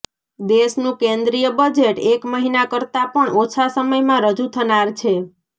દેશનું કેન્દ્રીય બજેટ એક મહિના કરતા પણ ઓછા સમયમાં રજૂ થનાર છે